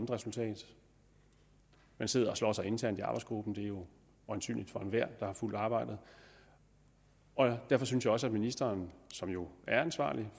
resultat man sidder og slås internt i arbejdsgruppen det er jo synligt for enhver der har fulgt arbejdet derfor synes jeg også at ministeren som jo er ansvarlig